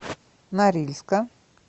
норильска